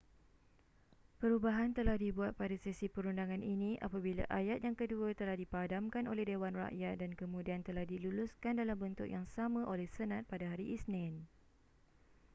perubahan telah dibuat pada sesi perundangan ini apabila ayat yang kedua telah dipadamkan oleh dewan rakyat dan kemudian telah diluluskan dalam bentuk yang sama oleh senat pada hari isnin